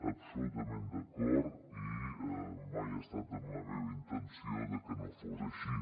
absolutament d’acord i mai ha estat en la meva intenció que no fos així